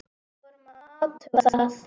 Við vorum að athuga það.